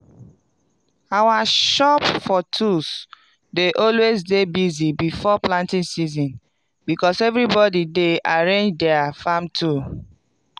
our shop for tools dey alway dey busy before planting season becos everybody dey arrange dier farm tool